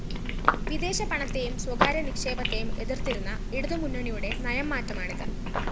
വിദേശ പണത്തേയും സ്വകാര്യ നിക്ഷേപത്തേയും എതിര്‍ത്തിരുന്ന ഇടതുമുന്നണിയുടെ നയം മാറ്റമാണിത്